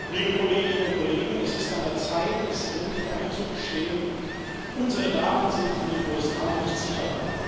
Frau Präsidentin, liebe Kolleginnen und Kollegen! Es ist an der Zeit, es endlich einzugestehen Unsere Daten sind in den USA nicht sicher.